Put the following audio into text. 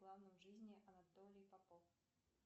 планы в жизни анатолий попов